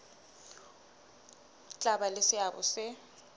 tla ba le seabo se